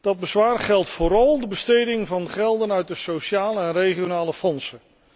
Dat bezwaar geldt vooral voor de besteding van gelden uit de sociale en regionale fondsen.